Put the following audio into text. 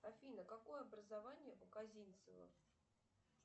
афина какое образование у козинцева